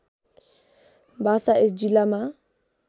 भाषा यस जिल्लामा